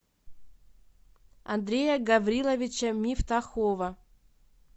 андрея гавриловича мифтахова